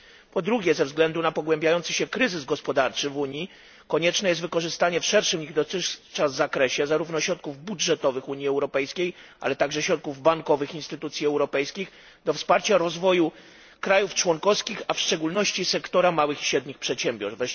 Po drugie, ze względu na pogłębiający się kryzys gospodarczy w Unii, konieczne jest wykorzystanie w szerszym niż dotychczas zakresie zarówno środków budżetowych Unii Europejskiej, jak i środków bankowych instytucji europejskich do wsparcia rozwoju krajów członkowskich, a w szczególności sektora małych i średnich przedsiębiorstw.